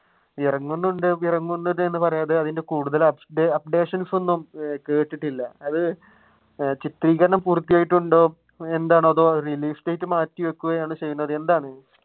ഇറങ്ങുന്നുണ്ട് ഇറങ്ങുന്നുണ്ട് എന്ന് പറയാതെ അതിന്റെ കൂടുതൽ updations ഒന്നും കേട്ടിട്ടില്ല. അത് ചിത്രീകരണം പൂർത്തിയായിട്ടുണ്ടോ എന്താണോ അത് release date മാറ്റിവെക്കുകയോ ചെയ്തത് എന്താണ്?